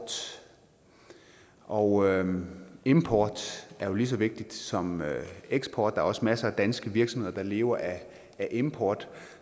og import er jo lige så vigtigt som eksport der er også masser af danske virksomheder der lever af import